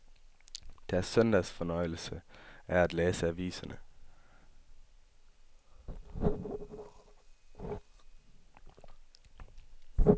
Deres søndagsfornøjelse er at læse aviserne.